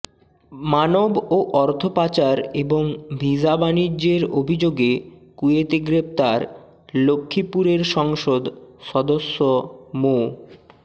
মানব ও অর্থ পাচার এবং ভিসা বাণিজ্যের অভিযোগে কুয়েতে গ্রেপ্তার লক্ষ্মীপুরের সংসদ সদস্য মো